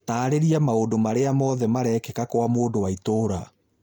taarĩria maũndũ marĩa mothe marekĩka Kwa mũndũ wa itũũra